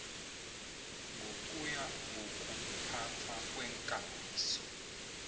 ngokuya ngokuphathwa kweekambiso